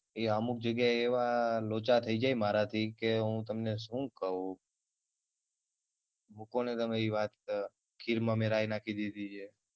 એ અમુક જગ્યા યે એવા લોચા થઇ જાય મારાથી કે હું તમને શું કવ. મુકોને તમે ઇ વાત ખીર માં મે રાય નાખી દીધી છે.